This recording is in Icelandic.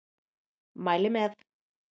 Mæli með!